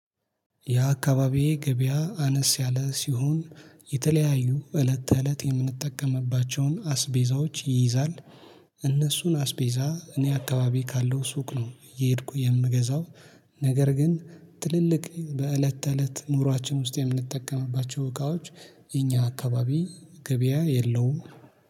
ያ አካባቢዬ ገበያ አነስ ያለ ሲሆን የተለያዩ እለት ተእለት የምንጠቀምባቸውን አስቤዛዎች ይይዛል። እነሱን አስቤዛ እኔ አካባቢ ካለው ሱቅ ነው እየሄድኩ የምገዛው። ነገር ግን ትልልቅ በእለት ተእለት ኑሯችን ውስጥ የምንጠቀምባቸው እቃዎች የኛ አካባቢ ገበያ የለውም።